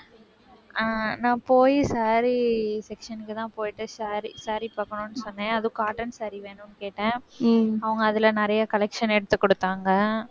ஆஹ் நான் போய், saree section க்குதான் போயிட்டு. saree saree பார்க்கணும்ன்னு சொன்னேன் அதுவும், cotton saree வேணும் கேட்டேன். அவங்க அதுல நிறைய collection எடுத்து கொடுத்தாங்க